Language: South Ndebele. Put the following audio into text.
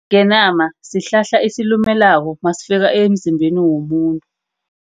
Isingenama, sihlahla esilumelako nasifika emzimbeni womuntu.